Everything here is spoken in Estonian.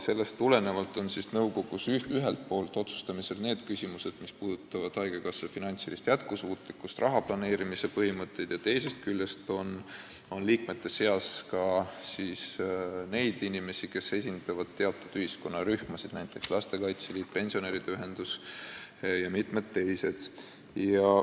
Sellest tulenevalt on nõukogus ühelt poolt otsustamisel need küsimused, mis puudutavad haigekassa finantsilist jätkusuutlikkust ja rahaplaneerimise põhimõtteid, teisest küljest on liikmete seas ka inimesi, kes esindavad teatud ühiskonnarühmasid, näiteks lastekaitse liitu, pensionäride ühendusi ja mitmeid teisi.